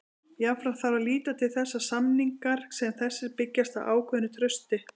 Jafnframt þarf að líta til þess að samningar sem þessir byggjast á ákveðnu trausti.